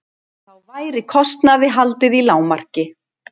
Þá væri kostnaði haldið í lágmarki